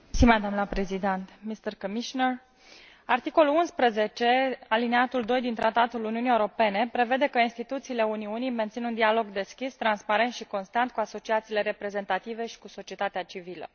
Doamnă Președintă, domnule Comisar, articolul 11 alineatul din Tratatul Uniunii Europene prevede că instituțiile Uniunii mențin un dialog deschis, transparent și constant cu asociațiile reprezentative și cu societatea civilă.